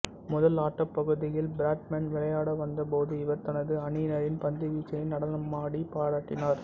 முதல் ஆட்டப் பகுதியில் பிராட்மன் விளையாட வந்த போது இவர் தனது அணியினரின் பந்துவீச்சினை நடனமாடி பாராட்டினார்